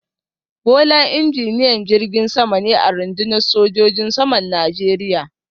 Bola injiniyan jirgin sama ne a rundunar sojojin saman Najeriya